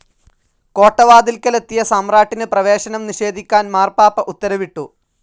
കോട്ടവാതിൽക്കലെത്തിയ സമ്രാട്ടിന് പ്രവേശനം നിഷേധിക്കാൻ മാർപ്പാപ്പ ഉത്തരവിട്ടു.